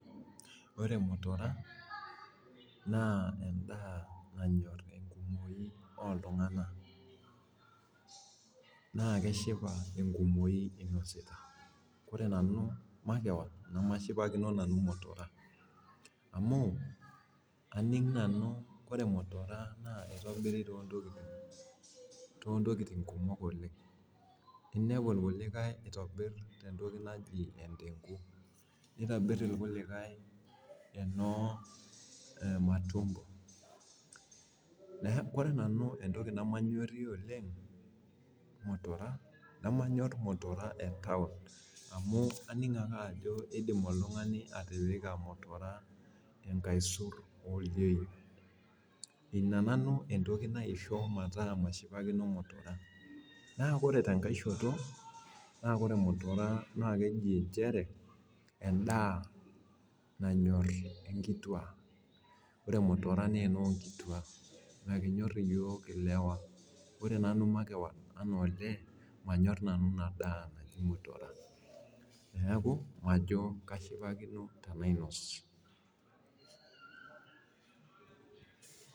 Ore mutura na endaa nanyor enkumoi oltunganak na keshipa enkumoi inosita ore nanu openy na aninga ajo ore mutura na kitobir tontokitin kumok oleng inepu naitobirieki endengu matumbo ore nanu entoki namanyorie oleng manyor mutura etaun amu indim ake oltungani atipika mutura enkaisur inananu entoki naiko metaa mashipakino mutura naa ore tenkai shoto na ore mutura na keji nchere endaa nanyor nkituak na miminyor yioo lewa neaku majo kashipakino tanainos